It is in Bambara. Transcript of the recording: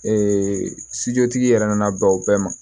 Ee tigi yɛrɛ nana bɛn o bɛɛ ma